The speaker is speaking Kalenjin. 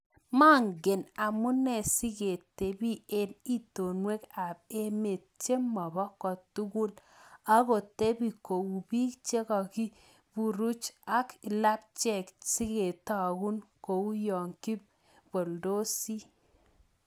Mangen amunee sikitepii eng itonmweek ap emet chemopoo kotugul agotepii kou peek chekakipuruch ak lapchek sigetaguu kouyoo kipalndosii